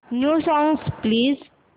new songs please